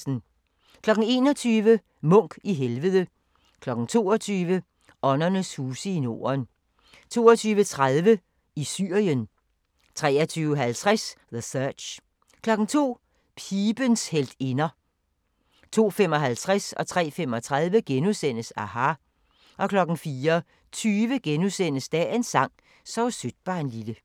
21:00: Munch i helvede 22:00: Åndernes huse i Norden 22:30: I Syrien 23:50: The Search 02:00: Pibens heltinder 02:55: aHA! * 03:35: aHA! * 04:20: Dagens sang: Sov sødt barnlille *